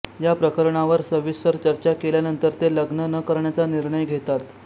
या प्रकरणावर सविस्तर चर्चा केल्यानंतर ते लग्न न करण्याचा निर्णय घेतात